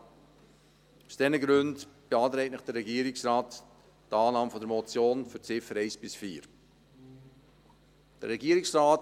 Aus diesen Gründen beantragt Ihnen der Regierungsrat Annahme für die Ziffern 1 bis 4 der Motion.